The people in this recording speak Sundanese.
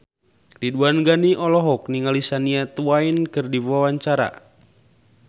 Ridwan Ghani olohok ningali Shania Twain keur diwawancara